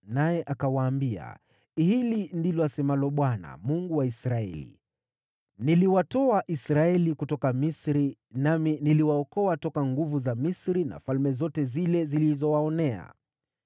naye akawaambia, “Hili ndilo asemalo Bwana , Mungu wa Israeli: ‘Niliwatoa Israeli kutoka Misri, nami niliwaokoa toka nguvu za Misri na falme zote zilizowaonea.’